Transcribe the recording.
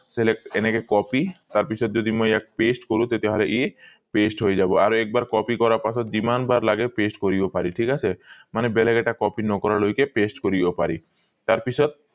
select এনেকে copy তাৰ পিছত যদি মই ইয়াক paste কৰো তেতিয়া হলে ই paste হৈ যাব আৰু এক বাৰ copy কৰাৰ পাছত যিমান বাৰ লাগে paste কৰিব পাৰি ঠিক আছে মানে বেলেগ এটা copy নকৰা লৈকে paste কৰিব পাৰি তাৰ পিছত